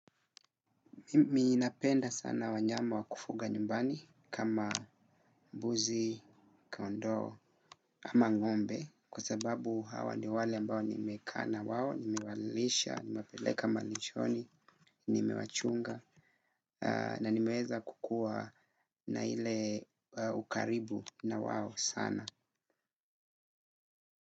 Mimi napenda sana wanyama wakufuga nyumbani kama mbuzi, kondoo ama ng'ombe kwa sababu hawa ni wale ambao nimekaa na wao, nimewalisha, nimepeleka malishoni, nimewachunga na nimeweza kukua na ile ukaribu na wao sana.